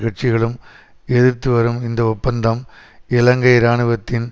கட்சிகளும் எதிர்த்து வரும் இந்த ஒப்பந்தம் இலங்கை இராணுவத்தின்